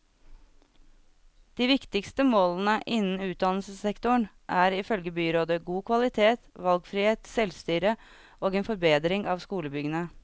De viktigste målene innen utdannelsessektoren er, ifølge byrådet, god kvalitet, valgfrihet, selvstyre og en forbedring av skolebyggene.